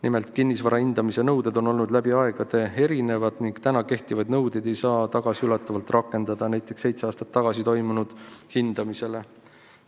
Nimelt, kinnisvara hindamise nõuded on olnud läbi aegade erinevad ning praegu kehtivaid nõudeid ei saa tagasiulatuvalt rakendada näiteks seitse aastat tagasi toimunud hindamisele.